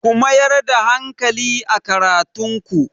Ku mayar da hankali a karatun ku!